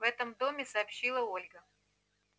в этом доме сообщила ольга